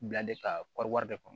Bila de kari de kɔnɔ